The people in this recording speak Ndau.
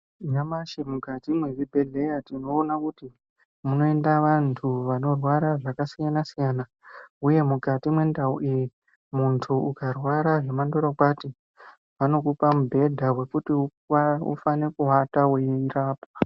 Nyamashi mukati muzvibhehlera tinoona kuti munoenda vandu vanorwara zvakasiyana siyana uye mukati mendau iyi munhu ukarwara zvemandorokwati vanokupa mubhedha wekuti ufanike kuvata weirapwa.